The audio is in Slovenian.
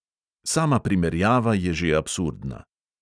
Sama primerjava je že absurdna.